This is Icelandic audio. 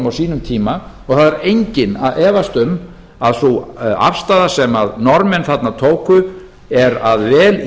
og það þarf enginn að efast um að sú afstaða sem norðmenn þarna tóku er að vel